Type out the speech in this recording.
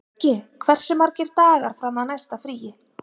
Röggi, hversu margir dagar fram að næsta fríi?